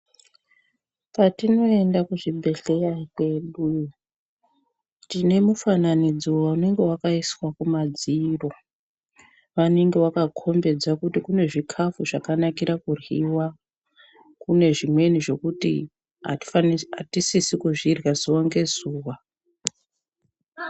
Kwatinoyenda kuzvibhedhleya kwedu, tinemufananidzo unenge wakayiswa kumadziro. Vanenge vakakhombedza kuti kunezvikafu zvakanakira kudliwa, kunezvimweni zvokuti atisisikuzvidlya zuva ngezuva.